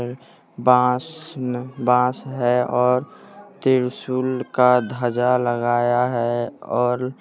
बास न बांस है और त्रिशूल का ध्वजा लगाया है और --